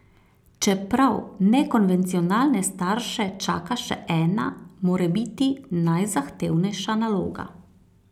Čeprav nekonvencionalne starše čaka še ena, morebiti najzahtevnejša naloga.